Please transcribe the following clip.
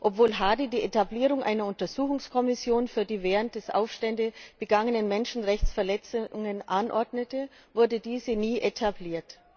Obwohl Hadi die Etablierung einer Untersuchungskommission für die während der Aufstände begangenen Menschenrechtsverletzungen anordnete, wurde diese nie etabliert.